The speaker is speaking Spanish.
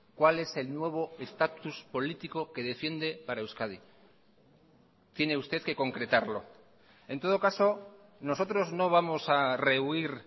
cuál es el nuevo estatus político que defiende para euskadi tiene usted que concretarlo en todo caso nosotros no vamos a rehuir